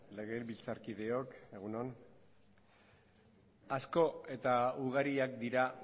legebiltzarkideok egun on asko eta ugariak dira